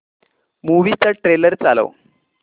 movie चा trailer चालव